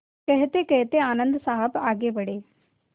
कहतेकहते आनन्द साहब आगे बढ़े